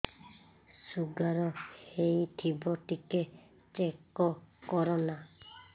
sugar ହେଇଥିବ ଟିକେ check କର ନା